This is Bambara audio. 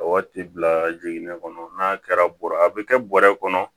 Waati bila jiginnen kɔnɔ n'a kɛra bɔrɔa a bɛ kɛ bɔrɛ kɔnɔ